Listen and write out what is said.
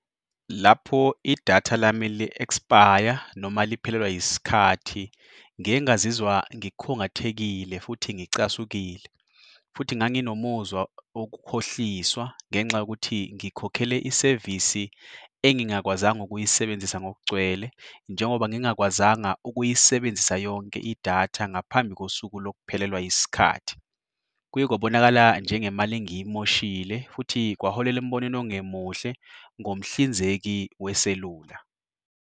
Lapho idatha lami li-expire-a noma liphelelwa yisikhathi, ngiye ngaziziwa ngikhungathekile futhi ngicasukile. Futhi nganginomuzwa wokukukhohliswa ngenxa yokuthi ngikhokhele isevisi engingakwazanga ukuyisebenzisa ngokugcwele njengoba ngingakwazanga ukuyisebenzisa yonke idatha ngaphambi kosuku lokhuphelelwa yisikhathi. Kuye kwabonakala njengemali engiyimoshile futhi kwaholela embonweni ongemuhle ngomhlinzeki weselula.